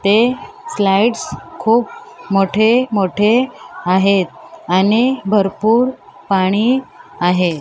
ते स्लाइड्स खूप मोठे मोठे आहेत आणि भरपूर पाणी आहे.